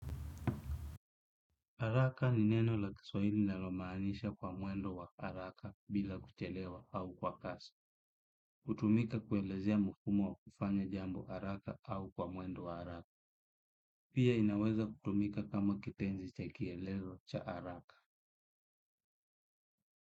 Haraka ni neno la kiswahili linalomaanisha kwa mwendo wa haraka bila kuchelewa au kwa kasi. Hutumika kuelezea mfumo wa kufanya jambo haraka au kwa mwendo wa haraka. Pia inaweza kutumika kama kitenzi cha kielezo cha haraka.